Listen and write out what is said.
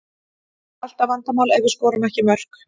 Það er alltaf vandamál ef við skorum ekki mörk.